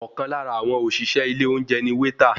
Ọ̀kan lára àwọn òṣìṣẹ́ ilé oúnjẹ ni wéétà.